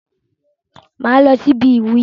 Mà á lọ síbi ìwúyè.